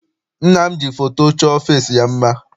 Nna m ji foto chọọ ọfịịsi ya mma.